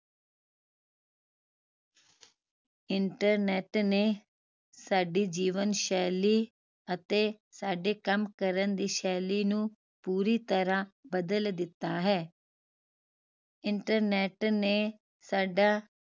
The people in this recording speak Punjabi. internet ਨੇ ਸਾਡੀ ਜੀਵਨ ਸ਼ੈਲੀ ਅਤੇ ਸਦੇ ਕਾਮ ਕਾਰਨ ਦੀ ਸ਼ੈਲੀ ਨੂੰ ਪੂਰੀ ਤਰਾਹ ਬਦਲ ਦਿੱਤਾ ਹੈ internet ਨੇ ਸਾਡਾ